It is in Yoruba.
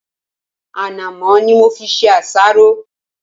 Ànàmọ́ ni mo fi ṣe àsáró.